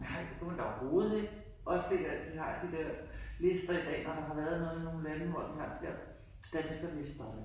Nej det kunne man da overhovedet ikke. Også det der, de har de der lister i dag, når der har været noget i nogen lande, hvor de har de der danskerlisterne